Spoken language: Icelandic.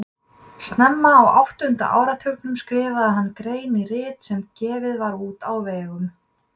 Snemma á áttunda áratugnum skrifaði hann grein í rit sem gefið var út á vegum